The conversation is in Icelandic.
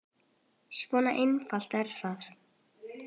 Svona einfalt er það.